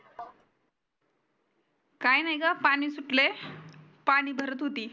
काही नाही ग पानी सुटलय पानी पानी भारत होती.